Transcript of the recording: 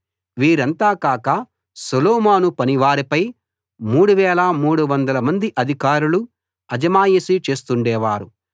వీరంతా కాక సొలొమోను పనివారిపై 3 300 మంది అధికారులు అజమాయిషీ చేస్తుండేవారు